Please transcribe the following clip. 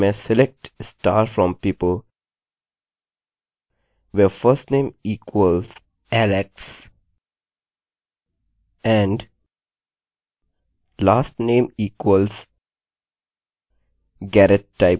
इसके लिए मैं select star from people where firstname equals alex and lastname equals garrett type करूँगा